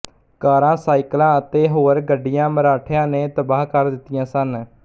ਕਾਰਾਂ ਸਾਈਕਲਾਂ ਅਤੇ ਹੋਰ ਗੱਡੀਆਂ ਮਰਾਠਿਆਂ ਨੇ ਤਬਾਹ ਕਰ ਦਿੱਤੀਆਂ ਸਨ